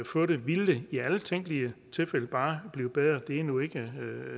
få det vil det i alle tænkelige tilfælde bare blive bedre det er nu ikke